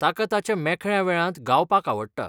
ताका ताच्या मेकळ्या वेळांत गावपाक आवडटा.